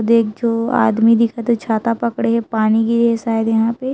देख जो आदमी दिखत हे छाता पकड़े हे पानी गिरे हे शायद यहाँ पे--